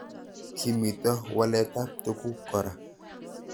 Kimito walet ab tuguk kora